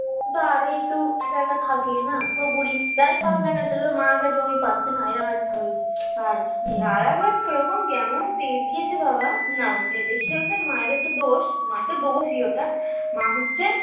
ও তো আরোই একটু এক এক থাকে না তো বলি যাই পাস না কেন সেটা তো মায়ের কাছে ওই পাচ্ছে না এরকম একটা হয়েছে আর এ আরেক বারটা কেমন তেজ দিয়েছে বাবা নাও দেখি মায়ের একটা দোষ মায়ের তো দোষই ওটা মা হচ্ছে